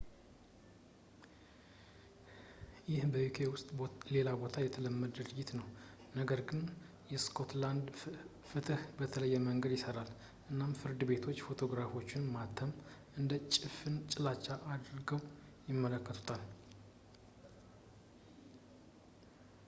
ይህ በuk ውስጥ ሌላ ቦታ የተለመደ ድርጊት ነው ነገር ግን የስኮትላንድ ፍትህ በተለየ መንገድ ይሰራል እናም ፍርድ ቤቶች ፎቶግራፎችን ማተም እንደ ጭፍን ጥላቻ አድርገው ይመለከቱታል